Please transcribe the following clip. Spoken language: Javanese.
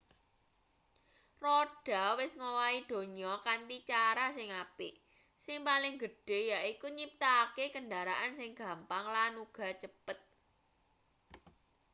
roda wis ngowahi donya kanthi cara sing apik sing paling gedhe yaiku nyiptakake kendaraan sing gampang lan uga cepet